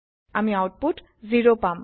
আমি আওতপুত 0 পাম